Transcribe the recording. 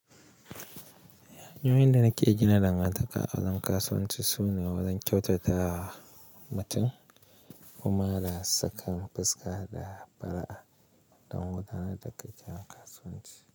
"Hanyoyin da nake gina dangantaka a wajen kasuwanci sune wajen kyautata wa mutum kuma da, sakan fuska da fara'a don wadanne dakika kasuwanci."